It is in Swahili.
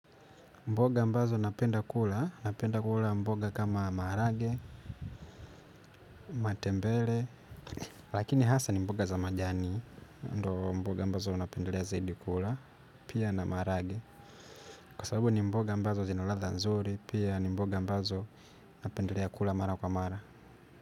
Mboga ambazo napenda kula, napenda kula mboga kama marage, matembele, lakini hasa ni mboga za majani, ndo mboga ambazo napendelea zaidi kula, pia na marage, kwa sababu ni mboga ambazo zina latha nzuri, pia ni mboga ambazo napendelea kula mara kwa mara.